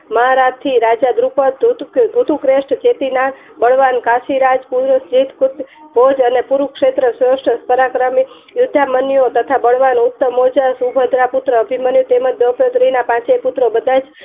મહારાજ થી રાજા ધ્રુપત ધ્રુતું પલવાન કાશી રાજ બૌદ્ધ અને કુરુક્ષેત્ર પરાક્રમી યુદ્ધા મન્યું તથા બળવાન ઉત્તમ સુભદ્રા પુત્ર અભિમન્યુ તથા દ્રૌપદી ના પાંચે પુત્ર બધાજ